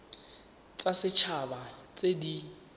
tsa set haba tse di